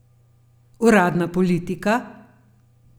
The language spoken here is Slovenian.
Uradna politika?